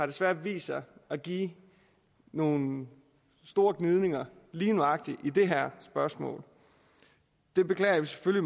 desværre vist sig at give nogle store gnidninger lige nøjagtig i det her spørgsmål det beklager vi